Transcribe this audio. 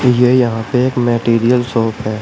ये यहां पे एक मैटेरियल शॉप है।